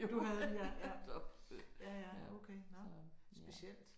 Du havde det ja ja. Ja ja okay nåh specielt